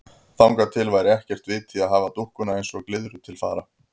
Þangað til væri heldur ekkert vit í að hafa dúkkuna eins og glyðru til fara.